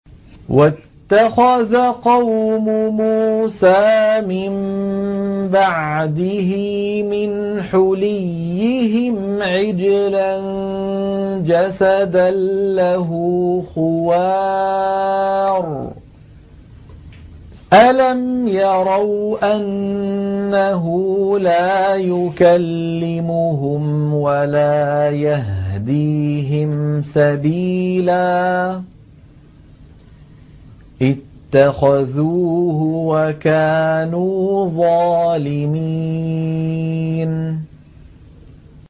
وَاتَّخَذَ قَوْمُ مُوسَىٰ مِن بَعْدِهِ مِنْ حُلِيِّهِمْ عِجْلًا جَسَدًا لَّهُ خُوَارٌ ۚ أَلَمْ يَرَوْا أَنَّهُ لَا يُكَلِّمُهُمْ وَلَا يَهْدِيهِمْ سَبِيلًا ۘ اتَّخَذُوهُ وَكَانُوا ظَالِمِينَ